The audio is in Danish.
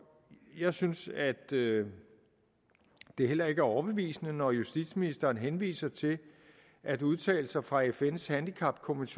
jeg synes at det det heller ikke er overbevisende når justitsministeren henviser til at udtalelser fra fns handicapkomité